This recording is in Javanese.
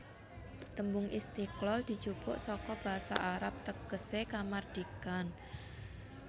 Tembung Istiqlal dijupuk saka basa Arab tegesé Kamardikan